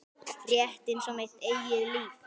Rétt einsog mitt eigið líf.